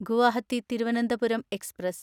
Guwahati Thiruvananthapuram express